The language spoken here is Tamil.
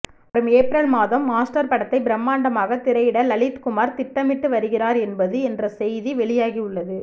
வரும் ஏப்ரல் மாதம் மாஸ்டர் படத்தை பிரமாண்டமாக திரையிட லலித்குமார் திட்டமிட்டு வருகிறார் என்பது என்ற செய்தி வெளியாகி உள்ளது